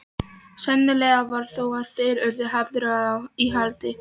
Sennilegast var þó að þeir yrðu hafðir í haldi.